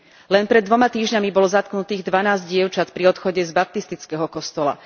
Len pred dvoma týždňami bolo zatknutých dvanásť dievčat pri odchode z baptistického kostola.